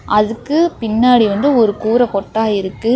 அதுக்கு பின்னாடி வந்து ஒரு கூரை கொட்டா இருக்கு.